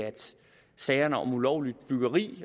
sagerne om ulovligt byggeri